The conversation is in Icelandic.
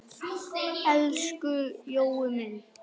Elsku Jói minn.